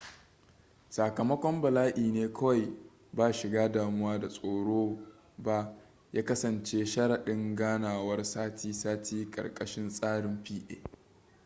sakamakon bala'i ne kawai ba shiga damuwa da tsoro ba ya kasance sharaɗin ganawar sati-sati karkashin tsarin pa